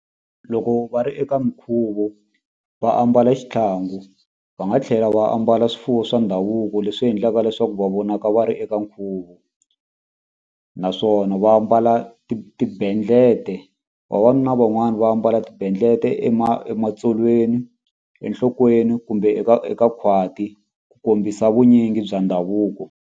Loko va ri eka mikhuvo va ambala xitlhangu va nga tlhela va ambala swifuwo swa ndhavuko leswi endlaka leswaku va vonaka va ri eka nkhuvo naswona va ambala tibendlete vavanuna van'wani va ambala tibendlete ematsolweni enhlokweni kumbe eka eka khwati ku kombisa vunyingi bya ndhavuko.